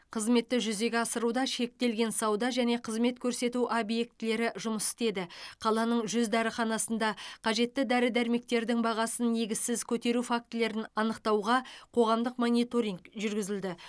қызметті жүзеге асыруда шектелген сауда және қызмет көрсету объектілері жұмыс істеді қаланың жүз дәріханасында қажетті дәрі дәрмектердің бағасын негізсіз көтеру фактілерін анықтауға қоғамдық мониторинг жүргізілді